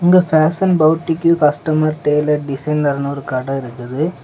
இங்க பேஷன் போட்டிக்கு custom tailor டிசைனர்னு ஒரு கட இருக்குது.